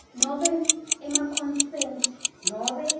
nobe emaconsent nobe